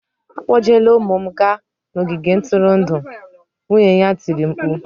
"Akpọjela ụmụ m gaa n'ogige ntụrụndụ!" Nwunye ya tiri mkpu